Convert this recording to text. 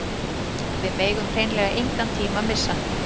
Við megum hreinlega engan tíma missa